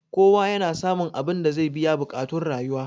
kowa yana samun abinda zai biya buƙactun rayuwa